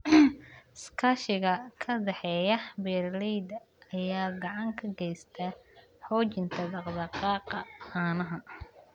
Iskaashiga ka dhexeeya beeralayda ayaa gacan ka geysta xoojinta dhaq-dhaqaaqa caanaha.